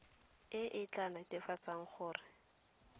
e e tla netefatsa gore